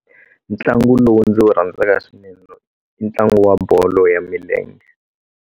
Ntlangu lowu ndzi wu rhandzaka swinene i ntlangu wa bolo ya milenge.